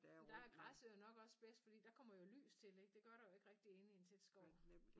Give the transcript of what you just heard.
Men der er græsset jo nok også bedst fordi der kommer jo lys til ikke det gør der jo ikke rigtig inde i en tæt skov